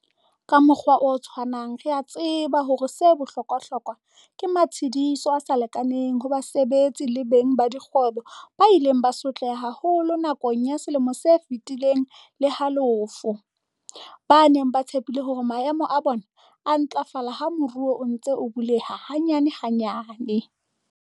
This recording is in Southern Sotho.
Ka mokgwa o tshwanang re a tseba hore 'se bohlokwahlokwa' ke matshediso a sa lekaneng ho basebetsi le beng ba dikgwebo ba ileng ba sotleha haholo nakong ya selemo se feti leng le halofo, ba neng ba tshepile hore maemo a bona a ntlafala ha moruo o ntse o buleha hanyanehanyane.